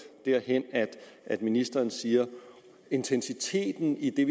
derhen at ministeren siger at intensiteten i det